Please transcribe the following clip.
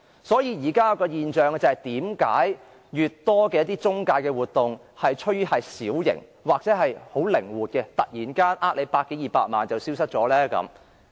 所以，為何現時的中介活動趨於小型，又或是很靈活的，突然間騙取百多二百萬元後便消失？